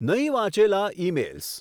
નહીં વાંચેલા ઇમેઇલ્સ